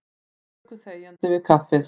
Þeir luku þegjandi við kaffið.